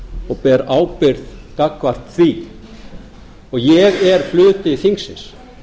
og ber ábyrgð gagnvart því og ég er hluti þingsins